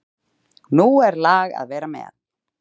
Nú er lag að vera með!